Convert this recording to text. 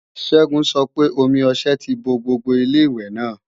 Ṣẹ́gun sọ pé omi ọṣẹ ti bo gbogbo Ilé-ìwẹ̀ náà